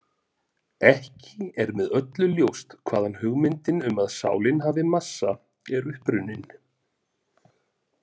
Ekki er með öllu ljóst hvaðan hugmyndin um að sálin hafi massa er upprunnin.